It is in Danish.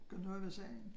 Gøre noget ved sagen